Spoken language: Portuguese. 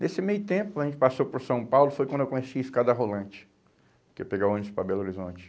Nesse meio tempo, a gente passou por São Paulo, foi quando eu conheci a escada rolante, que ia pegar ônibus para Belo Horizonte.